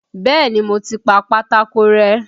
Bẹ́ẹ̀ni, mo ti pa pátákó rẹ́.